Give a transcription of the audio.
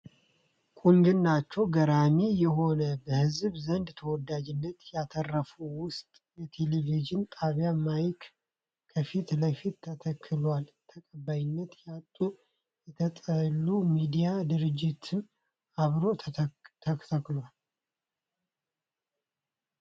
ቁንጅናቸዉ ገራሚ የሆነ በህዝብ ዘንድ ተወዳጅነትን ያተረፉት ዉስን የቴሌቪዥን ጣቢያ ማይክ ከፊት ለፊት ተተክሏል። ተቀባይነት ያጡ የተጠሉ ሚዲያ ድርጅትም አብሮ ተተክሏል።